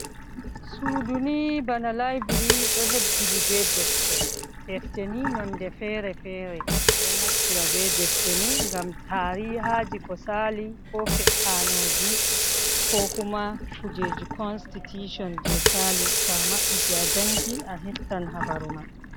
Suudu nihi bana library ɗo hebbini bee defte. Defte nihi nonɗe feere feere, ɗo naftira bee defte ni ngam taariihaaji ko saali koo fe’aanuuji koo kuma kujeeji constitution jey saali to a mabbiti, a janngi, a heftan habaru mai.